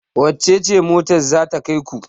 wacece mota ce za ta kai ku?